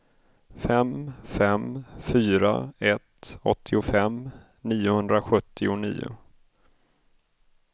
fem fem fyra ett åttiofem niohundrasjuttionio